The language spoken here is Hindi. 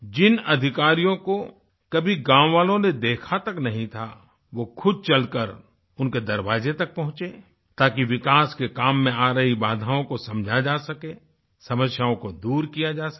जिन अधिकारियों को कभी गाँव वालों ने देखा तक नहीं था वो खुद चलकर उनके दरवाजे तक पहुँचे ताकि विकास के काम में आ रही बाधाओं को समझा जा सके समस्याओं को दूर किया जा सके